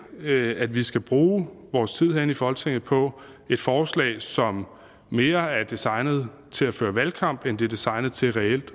at at vi skal bruge vores tid herinde i folketinget på et forslag som mere er designet til at føre valgkamp end det er designet til reelt